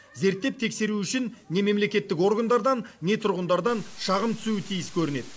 зерттеп тексеру үшін не мемлекеттік органдардан не тұрғындардан шағым түсуі тиіс көрінеді